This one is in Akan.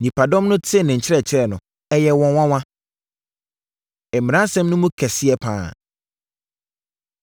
Nnipadɔm no tee ne nkyerɛkyerɛ no, ɛyɛɛ wɔn nwanwa. Mmaransɛm No Mu Kɛseɛ Pa Ara